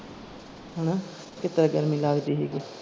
ਹੈਨਾ ਕਿਤਰਾਂ ਗਰਮੀ ਲਗਦੀ ਸੀ ਗੀ।